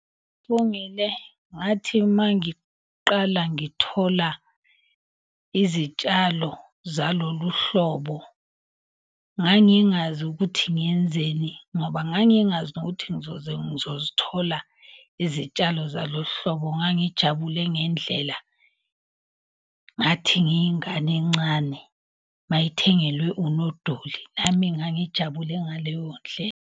Ngathi mangiqala ngithola izitshalo zalolu hlobo, ngangingazi ukuthi ngiyenzeni ngoba ngangingazi nokuthi ngizozithola izitshalo zalo hlobo. Ngangijabule ngendlela, ngathi ngiyingane encane mayithengelwe unodoli. Nami ngangijabule ngaleyo .